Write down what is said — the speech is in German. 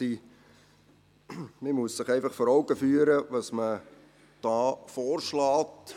Man muss sich einfach vor Augen führen, was man hier vorschlägt.